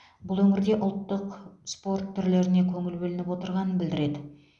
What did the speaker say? бұл өңірде ұлттық спорт түрлеріне көңіл бөлініп отырғанын білдіреді